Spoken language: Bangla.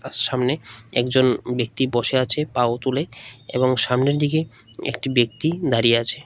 সামনে একজন ব্যক্তি বসে আছে পাও তুলে এবং সামনের দিকে একটি ব্যক্তি দাঁড়িয়ে আছে।